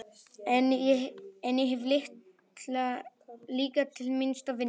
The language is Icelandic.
En ég hef líka til mikils að vinna.